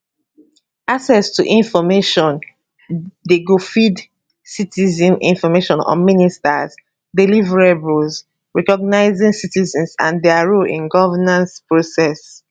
access to informationdi go feed citizens information on ministers deliverables recognising citizens and dia role in governance process